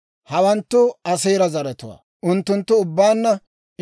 Hawanttu Aaseera zaratuwaa; unttunttu ubbaanna 53,400.